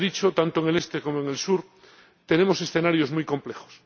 Ya se ha dicho tanto en el este como en el sur tenemos escenarios muy complejos.